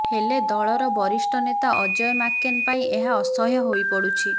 ହେଲେ ଦଳର ବରିଷ୍ଠ ନେତା ଅଜୟ ମାକେନ ପାଇଁ ଏହା ଅସହ୍ୟ ହୋଇ ପଡ଼ୁଛି